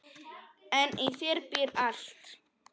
En í þér býr allt.